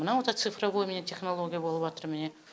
мынау да цифровой міне технология болыватыр міне